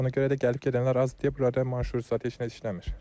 Ona görə də gəlib-gedənlər azdır deyə buralara marşrut zad heç nə işləmir.